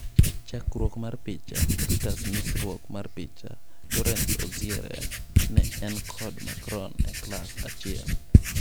Chakruok mar picha, Reuters nyisruok mar picha, Laurence Auziere ne en kod Macron e klass achiel.